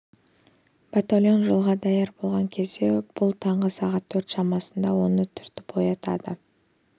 батальон жолға даяр болған кезде бұл таңғы сағат төрт шамасында оны түртіп оятады